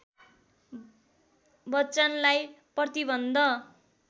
बच्‍चनलाई प्रतिबन्ध